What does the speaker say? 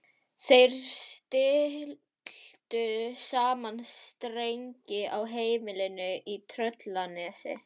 Þeir stilltu saman strengi á heimilinu í Tröllanesi.